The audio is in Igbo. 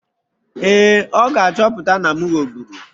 Ee, ọ ga-achọpụta na m ghọgburu.